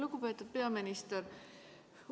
Lugupeetud peaminister!